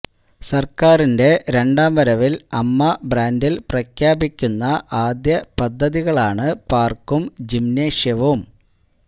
സര്ക്കാരിന്റെ രണ്ടാം വരവില് അമ്മ ബ്രാന്ഡില് പ്രഖ്യാപിക്കുന്ന ആദ്യ പദ്ധതികളാണ് പാര്ക്കും ജിംനേഷ്യവും